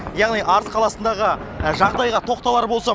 яғни арыс қаласындағы жағдайға тоқталар болсам